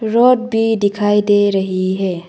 Road भी दिखाई दे रही है।